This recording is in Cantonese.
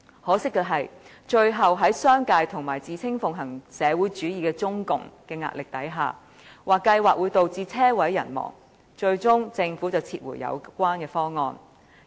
可惜的是，在商界及自稱奉行社會主義的中共的壓力下，該計劃被指會導致"車毀人亡"，最終被政府撤回。